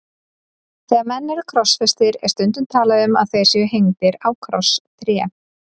Þegar menn eru krossfestir er stundum talað um að þeir séu hengdir á krosstré.